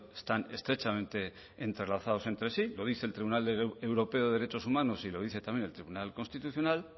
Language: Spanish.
están estrechamente entrelazados entre sí lo dice el tribunal de europeo de derechos humanos y lo dice también el tribunal constitucional